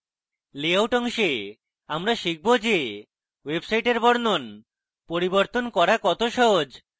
layout অংশে আমরা শিখব যে ওয়েবসাইটের বর্ণন পরিবর্তন করা কত সহজ